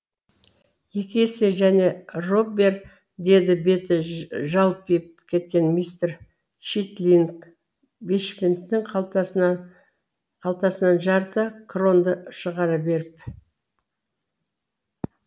екі есе және роббер деді беті жалпиып кеткен мистер читлинг бешпенттің қалтасынан жарты кронды шығара беріп